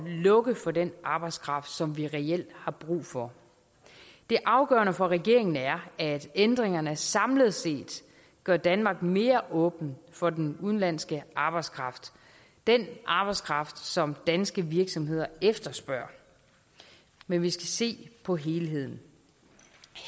lukke for den arbejdskraft som vi reelt har brug for det afgørende for regeringen er at ændringerne samlet set gør danmark mere åben for den udenlandske arbejdskraft den arbejdskraft som danske virksomheder efterspørger men vi skal se på helheden